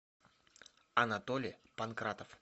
анатолий панкратов